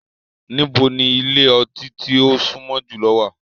Nibo ni ile-ọti ti o sunmọ julọ wa?